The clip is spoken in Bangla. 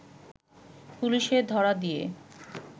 পুলিশে ধরা দিয়ে